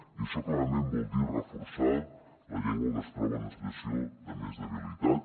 i això clarament vol dir reforçar la llengua que es troba en una situació de més debilitat